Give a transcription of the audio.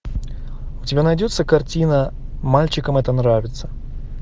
у тебя найдется картина мальчикам это нравится